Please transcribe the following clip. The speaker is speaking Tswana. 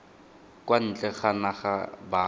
kwa ntle ga naga ba